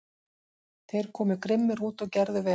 Þeir komu grimmir út og gerðu vel.